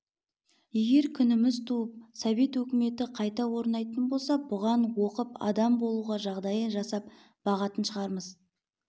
егер күніміз туып совет өкіметі қайта орнайтын болса бұған оқып адам болуға жағдайды жасап бағатын шығармыз